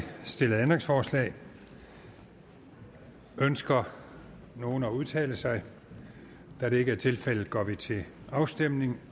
stillet ændringsforslag ønsker nogen at udtale sig da det ikke er tilfældet går vi til afstemning